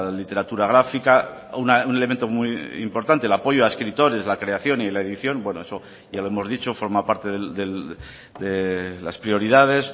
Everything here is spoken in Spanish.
literatura gráfica un elemento muy importante el apoyo a escritores la creación y la edición bueno eso ya lo hemos dicho forma parte de las prioridades